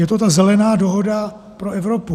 Je to ta Zelená dohoda pro Evropu.